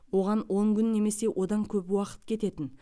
оған он күн немесе одан көп уақыт кететін